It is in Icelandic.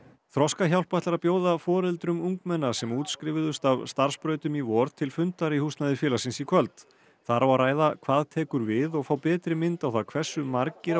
Þroskahjálp ætlar að bjóða foreldrum ungmenna sem útskrifuðust af starfsbrautum í vor til fundar í húsnæði félagsins í kvöld þar á að ræða hvað tekur við og fá betri mynd á það hversu margir á